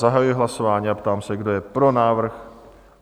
Zahajuji hlasování a ptám se, kdo je pro návrh?